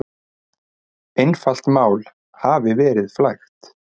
Einfalt mál hafi verið flækt.